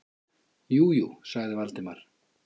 Jú, jú- sagði Valdimar.